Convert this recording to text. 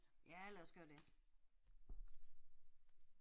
Ja lad os gøre det